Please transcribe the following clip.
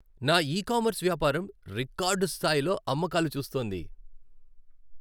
నా e commerce వ్యాపారం record స్థాయిలో అమ్మకాలు చూస్తోంది.